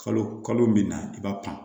Kalo kalo min na i b'a pan